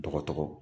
Dɔgɔtɔrɔ